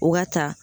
O ka ta